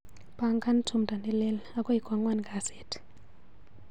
Pangan tumndo nelel akoi kwang'wan kasit.